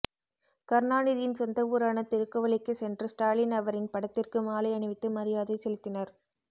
கருணாநிதியின் சொந்த ஊரான திருக்குவளைக்கு சென்ற ஸ்டாலின் அவரின் படத்திற்கு மாலை அணிவித்து மரியாதை செலுத்தினர்